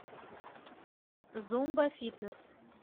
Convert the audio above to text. зумба фитнес